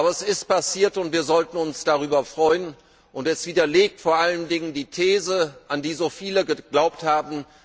Aber es ist passiert und wir sollten uns darüber freuen, und es widerlegt vor allen Dingen die These des an die so viele geglaubt haben.